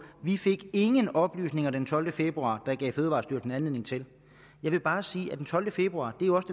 vi fik ingen oplysninger den tolvte februar der gav fødevarestyrelsen anledning til jeg vil bare sige at den tolvte februar jo også